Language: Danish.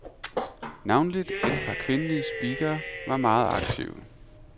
Navnlig et par kvindelige speakere var meget aktive.